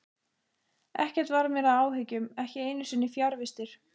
Ekkert varð mér að áhyggjum, ekki einu sinni fjarvistir.